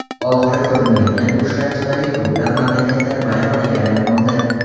Oxiri ko‘rinmaydigan urushlar tufayli ko‘plab mamlakatlar vayronaga aylanmoqda.